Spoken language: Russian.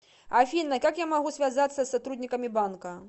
афина как я могу связаться с сотрудниками банка